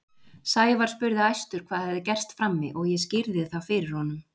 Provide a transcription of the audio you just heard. Sævar spurði æstur hvað hefði gerst frammi og ég skýrði það fyrir honum.